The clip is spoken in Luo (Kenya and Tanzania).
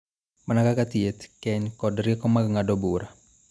Mana kaka thieth, keny, kod rieko mag ng�ado bura.